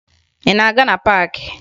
Ị na-aga na paakị?